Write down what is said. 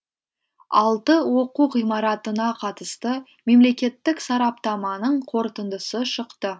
алты оқу ғимаратына қатысты мемлекеттік сараптаманың қорытындысы шықты